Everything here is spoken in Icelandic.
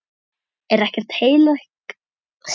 Er ekkert heilagt lengur?